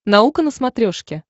наука на смотрешке